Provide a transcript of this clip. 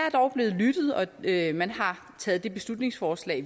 er og man har taget det beslutningsforslag